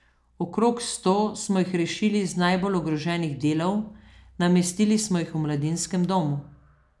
Okrog sto smo jih rešili z najbolj ogroženih delov, namestili smo jih v mladinskem domu.